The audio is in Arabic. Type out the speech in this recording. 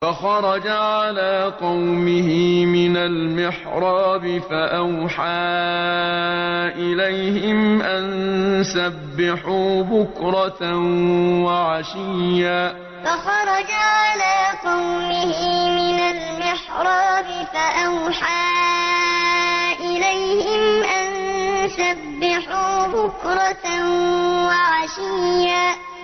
فَخَرَجَ عَلَىٰ قَوْمِهِ مِنَ الْمِحْرَابِ فَأَوْحَىٰ إِلَيْهِمْ أَن سَبِّحُوا بُكْرَةً وَعَشِيًّا فَخَرَجَ عَلَىٰ قَوْمِهِ مِنَ الْمِحْرَابِ فَأَوْحَىٰ إِلَيْهِمْ أَن سَبِّحُوا بُكْرَةً وَعَشِيًّا